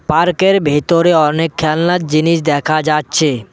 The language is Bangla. পার্ক -এর ভিতরে অনেক খেলনার জিনিস দেখা যাচ্ছে।